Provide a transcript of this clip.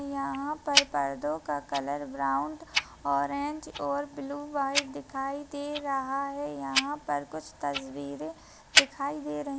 यहाँ पर पर्दों का कलर ब्रौंन ऑरेंज और ब्लू व्हाइट दिखाई दे रहा है यहाँ पर कुछ तस्वीरे दिखाई दे रही--